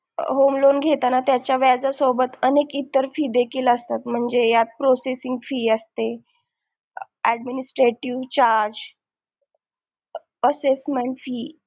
home loan घेताना त्याच्या व्याजासोबत अनेक इतर फीस देखील असतात म्हणजे Processing fee असते माझे Administrative charge Assessment fee